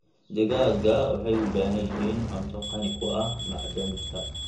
Digaagga waxay u baahan yihiin cunto qani ku ah macdanta.